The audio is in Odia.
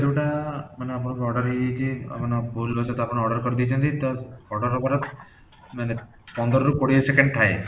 ଯୋଉଟା ମାନେ ଆପଣଙ୍କର order ହେଇଯାଇଛି ମାନେ ଭୁଲ ର ସହିତ ଆପଣ order କରିଦେଇଛନ୍ତି ତ order ହବାର ମାନେ ପନ୍ଦର ରୁ କୋଡିଏ second ଥାଏ